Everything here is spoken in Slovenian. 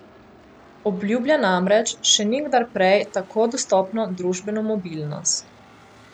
Obljublja namreč še nikdar prej tako dostopno družbeno mobilnost.